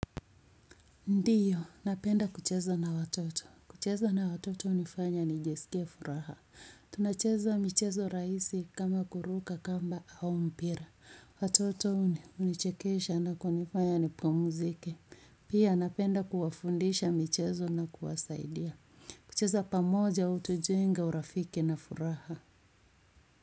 Ndiyo, napenda kucheza na watoto. Kucheza na watoto hunifanya nijisikie furaha. Tunacheza michezo rahisi kama kuruka kamba au mpira. Watoto hunichekesha na kunifanya nipumuzike. Pia napenda kuwafundisha michezo na kuwasaidia. Kucheza pamoja utujenga urafiki na furaha.